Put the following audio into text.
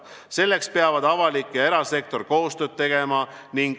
Selleks peavad avalik ja erasektor koostööd tegema.